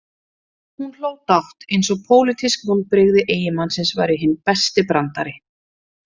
Hún hló dátt, eins og pólitísk vonbrigði eiginmannsins væru hinn besti brandari.